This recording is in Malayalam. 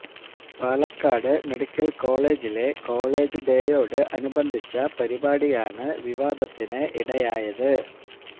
പാലക്കാട് മെഡിക്കല് കോളേജിലെ കോളേജ് ഡേയോട് അനുബന്ധിച്ച പരിപാടിയാണ് വിവാദത്തിന് ഇടയായത്